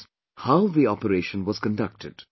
e, how the operation was conducted